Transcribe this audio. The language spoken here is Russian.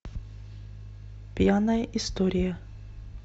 пьяная история